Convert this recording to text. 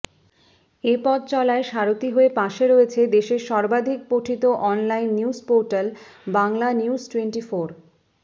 এ পথচলায় সারথী হয়ে পাশে রয়েছে দেশের সর্বাধিক পঠিত অনলাইন নিউজপোর্টাল বাংলানিউজটোয়েন্টিফোর